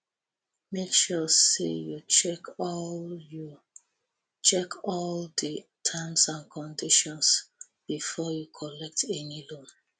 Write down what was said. make sure say you check all you check all di terms and conditions well befor you collet any loan